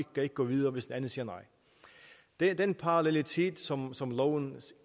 kan gå videre hvis den anden siger nej den parallelitet som loven